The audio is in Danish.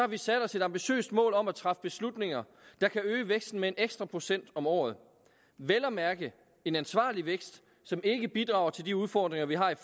vi sat os et ambitiøst mål om at træffe beslutninger der kan øge væksten med en ekstra procent om året vel at mærke en ansvarlig vækst som ikke bidrager til de udfordringer vi har i